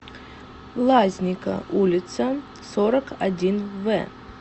лазника улица сорок один в